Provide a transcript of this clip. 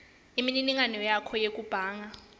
imininingwane yakho yekubhanga